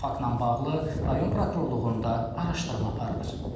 Faktla bağlı rayon prokurorluğunda araşdırma aparılır.